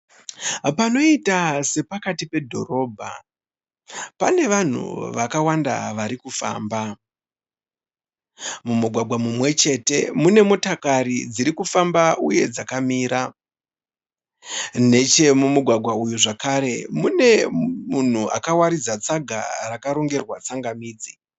Panoita sepakati pedhorobha pane vanhu vakawanda vari kufamba. Mumugwagwa mumwe chete mune motokari dziri kufamba uye dzakamira. Nechemumugwagwa uyu zvakare mune munhu akawaridza tsaga rakarongerwa tsangamidzi.